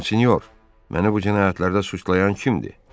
Monsenyor, məni bu cinayətlərdə suçlayan kimdir?